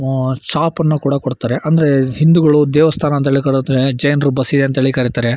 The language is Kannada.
ಉಹ್ಹ್ ಶಾಪ್ ಅನ್ನು ಕೂಡ ಕೊಡ್ತಾರೆ ಅಂದ್ರೆ ಹಿಂದೂಗಳು ದೇವಸ್ಥಾನ ಅಂತ ಹೇಳಿ ಕರೀತಾರೆ ಜೈನರು ಬಸದಿ ಅಂತ ಕರೀತಾರೆ.